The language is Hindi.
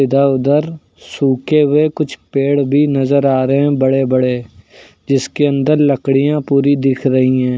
इधर उधर सूखे हुए कुछ पेड़ भी नजर आ रहे हैं बड़े बड़े जिसके अंदर लकड़ियां पूरी दिख रही हैं।